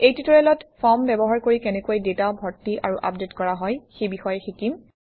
এই টিউটৰিয়েলত ফৰ্ম ব্যৱহাৰ কৰি কেনেকৈ ডাটা ভৰ্তি আৰু আপডেট কৰা হয় সেই বিষয়ে শিকিম